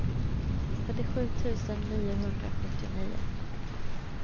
trettiosju tusen niohundrasjuttionio